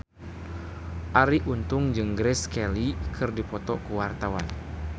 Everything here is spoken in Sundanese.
Arie Untung jeung Grace Kelly keur dipoto ku wartawan